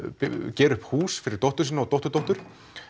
gera upp hús fyrir dóttur sína og dótturdóttur